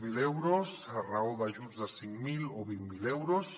zero euros a raó d’ajuts de cinc mil o vint miler euros